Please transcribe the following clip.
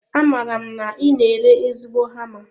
Amaara m na I na ere ezigbo hama